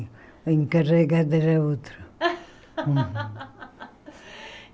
A encarregada era outra.